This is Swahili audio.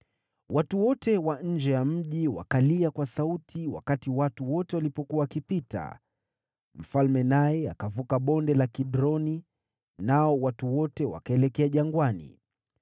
Watu wote wa nje ya mji wakalia kwa sauti wakati watu wote walipokuwa wakipita. Mfalme naye akavuka Bonde la Kidroni, nao watu wote wakaelekea jangwani.